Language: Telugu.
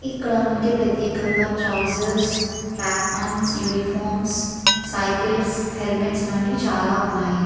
ఎక్కడికి మనకి ప్రత్యేకంగా trousers track pants uniforms cycles helmets లాంటివి ఉన్నాయి.